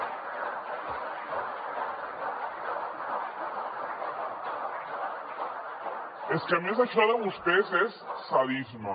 és que a més això de vostès és sadisme